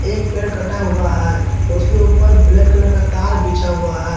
एक पेड़ कटा हुआ है उसके ऊपर ब्लैक कलर का तार बिछा हुआ है।